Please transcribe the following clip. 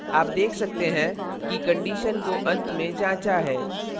आप देख सकते हैं कि condition को अंत में जाँचा है